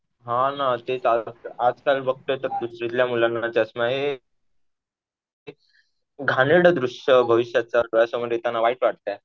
हा ना. ते आजकाल बघतोय तर दुसरीतल्या मुलांना चष्मा आहे. घाणेरडं दृश्य भविष्याचं डोळ्यासमोर येताना वाईट वाटतंय.